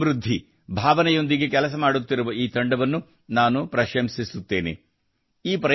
ಸಹಕಾರದಿಂದ ಸಮೃದ್ಧಿ ಭಾವನೆಯೊಂದಿಗೆ ಕೆಲಸ ಮಾಡುತ್ತಿರುವ ಈ ತಂಡವನ್ನು ನಾನು ಪ್ರಶಂಸಿಸುತ್ತೇನೆ